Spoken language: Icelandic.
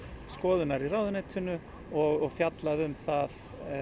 skoðunar í ráðuneytinu og fjallað um það